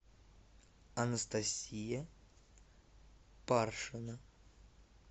анастасия паршина